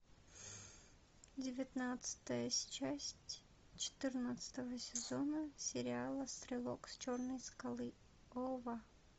девятнадцатая часть четырнадцатого сезона сериала стрелок с черной скалы ова